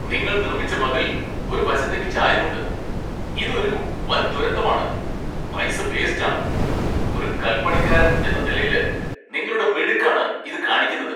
നിങ്ങൾ നിർമ്മിച്ച മതിൽ ഒരു വശത്തേക്ക് ചായുന്നുണ്ട്, ഇത് ഒരു വൻ ദുരന്തമാണ്, പൈസ വേസ്റ്റ് ആണ്, ഒരു കല്പണിക്കാരൻ എന്ന നിലയില് നിങ്ങളുടെ മിടുക്ക് ആണ് ഇത് കാണിക്കുന്നത്.